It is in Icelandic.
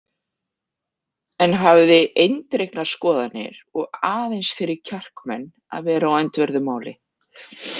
En hafði eindregnar skoðanir og aðeins fyrir kjarkmenn að vera á öndverðu máli.